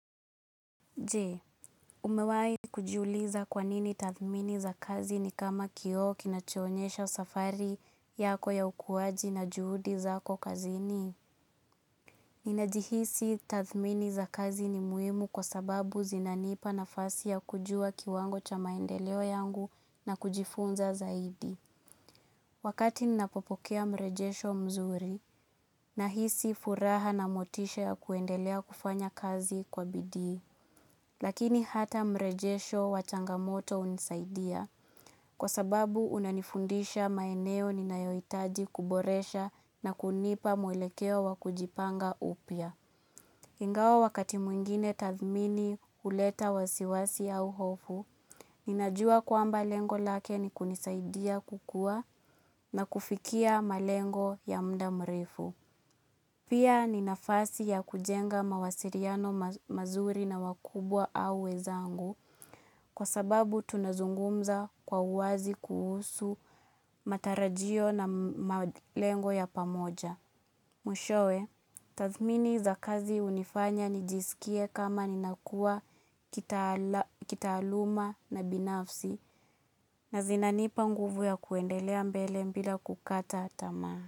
Je, umewai kujiuliza kwanini tathmini za kazi ni kama kioo kinacho onyesha safari yako ya ukuwaji na juhudi zako kazini? Ninajihisi tathmini za kazi ni muhimu kwa sababu zinanipa na fasi ya kujua kiwango cha maendeleo yangu na kujifunza zaidi. Wakati ninapopokea mrejesho mzuri na hisi furaha na motisha ya kuendelea kufanya kazi kwa bidii. Lakini hata mrejesho wachangamoto unisaidia, kwa sababu unanifundisha maeneo ninayoitaji kuboresha na kunipa mwelekeo wakujipanga upya. Ingawa wakati mwingine tathmini huleta wasiwasi au hofu, ninajua kwamba lengo lake ni kunisaidia kukua na kufikia malengo ya mda mrefu. Pia ni nafasi ya kujenga mawasiliano mazuri na wakubwa au we zangu kwa sababu tunazungumza kwa uwazi kuhusu matarajio na malengo ya pamoja. Mwishowe, tathmini za kazi unifanya nijisikie kama ninakua kitaaluma na binafsi na zinanipa nguvu ya kuendelea mbele bila kukata tamaa.